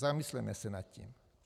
Zamysleme se nad tím.